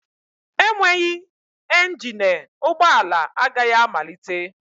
Enweghị engine ụgbọ ala agaghị amalite